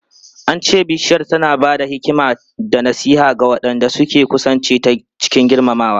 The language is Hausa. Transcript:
An ce Bishiyar tana ba da hikima da nasiha ga waɗanda suka kusance ta cikin girmamawa.